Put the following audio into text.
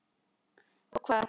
Og hvað.